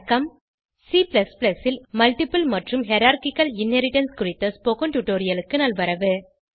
C ல் multiple மற்றும் hierarchical inheritance குறித்த ஸ்போகன் டுடோரியலுக்கு நல்வரவு